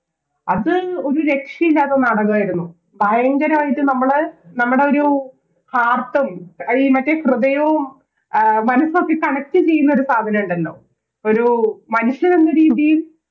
അത് ഒരു രക്ഷയില്ലാത്ത നാടകവായിരുന്നു ഭയങ്കരയിട്ട് നമ്മള് നമ്മടൊരു Heart അലിയും അത് മറ്റേ ഹൃദയം അഹ് മനസ്സൊക്കെ Connect ചെയ്യുന്ന ഒരു സാധനൊണ്ടല്ലോ ഒരു മനുഷ്യനെന്ന രീതിയിൽ